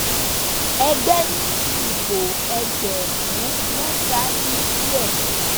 ẹgbẹ ni ìbò ẹgbẹrún mẹta dín díẹ